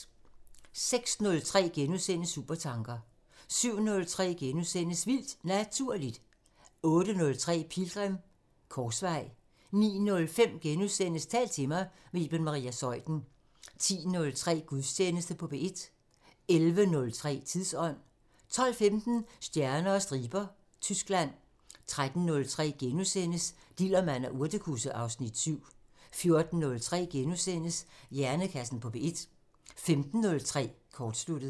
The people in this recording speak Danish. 06:03: Supertanker * 07:03: Vildt Naturligt * 08:03: Pilgrim – Korsvej 09:05: Tal til mig – med Iben Maria Zeuthen * 10:03: Gudstjeneste på P1 11:03: Tidsånd 12:15: Stjerner og striber – Tyskland 13:03: Dillermand og urtekusse (Afs. 7)* 14:03: Hjernekassen på P1 * 15:03: Kortsluttet